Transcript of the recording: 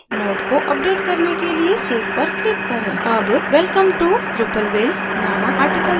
अब welcome to drupalville नामक article node को बदलना सीखते हैं